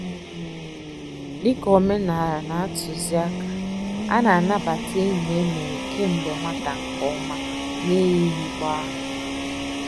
Dị ka omenala na-atuzi àkà, a na-anabata enyi e mere kemgbe nwata nke ọma n'eyighị gbá.